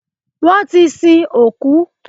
Wọ́n ti sin òkú.